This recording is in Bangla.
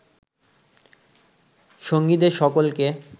সঙ্গীদের সকলকে